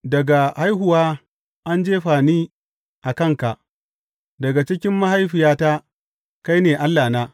Daga haihuwa an jefa ni a kanka; daga cikin mahaifiyata kai ne Allahna.